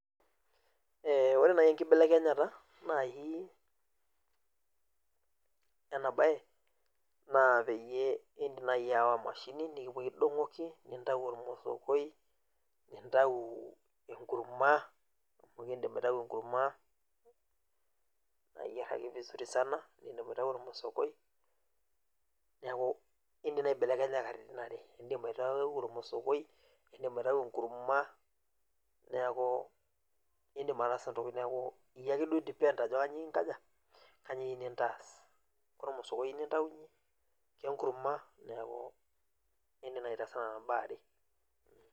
ee ore naaji enkibelekenyata naaji ena bae, naa idim naai aawa, emashini nikipuoi aidong'oki nintayu ormothokoi. nintau enkurma, amu kidim aitau enkurma, naayier ake vizuri sana tenidip aitau ormothokoi, neeku idim naa aibelekenya katitin are, idim aitau ormosokoi idima itau enkurma. neeku idim ataasa ntokitin, neeku iyie ake duo i depend ajo kainyioo iyieu ninkaja, kainyioo iyieu nintaas. kormosokoi iyieu nintaunye, kenkurma neeku idim naa aitaasa nena baa are.